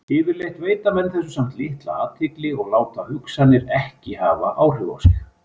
Yfirleitt veita menn þessu samt litla athygli og láta hugsanirnar ekki hafa áhrif á sig.